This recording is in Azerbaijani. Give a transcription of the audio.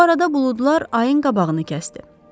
Bu arada buludlar ayın qabağını kəsdi.